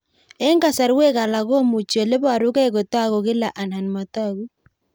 Eng'kasarwek alak komuchi ole parukei kotag'u kila anan matag'u